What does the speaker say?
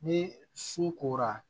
Ni su kora